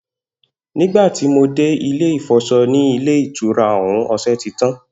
Nígbà tí mo dé ilé ìfò̩s̩o̩ ní ilé ìtura ò̩ún, o̩s̩e̩ ti tán